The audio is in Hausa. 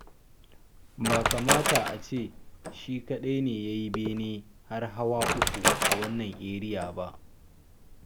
Ba kamata a ce shi kaɗai ne ya yi bene har hawa uku a wannan eriyar ba.